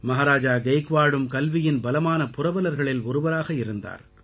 மஹாராஜா கெய்க்வாடும் கல்வியின் பலமான புரவலர்களில் ஒருவராக இருந்தார்